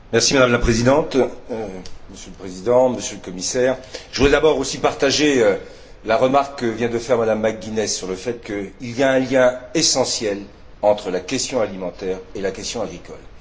Madame la Présidente, Monsieur le Président, Monsieur le Commissaire, je voudrais d'abord partager la remarque que vient de faire Mme McGuinness sur le fait qu'il y a un lien essentiel entre la question alimentaire et la question agricole.